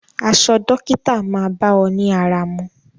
Aṣọ dókítà máa bá ọ ní ara mu.